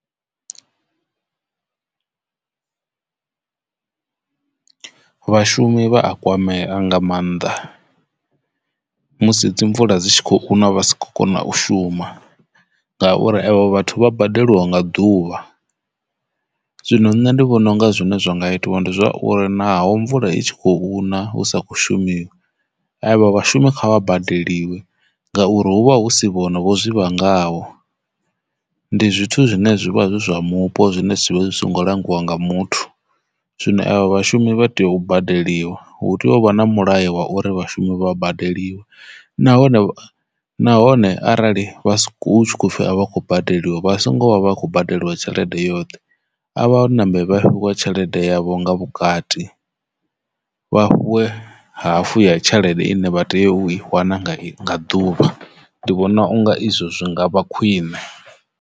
Vhashumi vha a kwamea nga maanḓa musi dzi mvula dzi tshi khou na vha si khou kona u shuma ngauri evho vhathu vha badeliwa nga ḓuvha zwino nṋe ndi vhona unga zwine zwa nga itiwa ndi zwauri naho mvula i tshi khou na husa kho shumisa avha vhashumi kha vha badeliwe ngauri hu vha hu si vhone zwivha ngaho ndi zwithu zwine zwivha zwi zwa mupo zwine zwivha zwi songo langiwa nga muthu. Zwino avha vhashumi vha tea u badeliwa hu tea u vha na mulayo wa uri vhashumi vha badeliwa nahone nahone arali vha si khou pfhi a vha khou badeliwa vha songo vha vha kho badeliwa tshelede yoṱhe avha hone ṋambe vha fhiwe tshelede yavho nga vhukati vha fhiwe hafu ya tshelede ine vha tea u i wana nga ḓuvha ndi vhona unga izwo zwi ngavha khwine.